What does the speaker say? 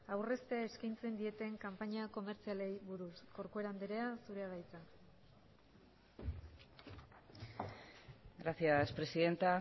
aurreztea eskaintzen dieten kanpaina komertzialei buruz corcuera andrea zurea da hitza gracias presidenta